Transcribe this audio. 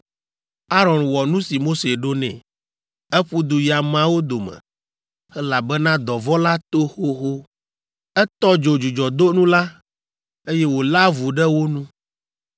Aron wɔ nu si Mose ɖo nɛ. Eƒu du yi ameawo dome, elabena dɔvɔ̃ la to xoxo. Etɔ dzo dzudzɔdonu la, eye wòlé avu ɖe wo nu.